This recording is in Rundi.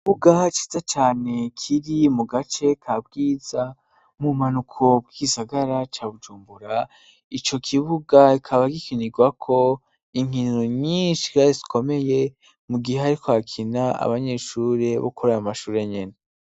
Ikibuga ciza cyane kiri mu gace ka Bwiza mu bumanuko bw'isagara ca bujumbura. Ico kibuga kikaba gikinirwako inkiniro nyinshi zikomeye mu gihe ari ko akina abanyeshuri bo kuri ayo mashuri nyene.